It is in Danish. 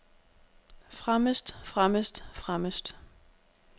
fremmest fremmest fremmest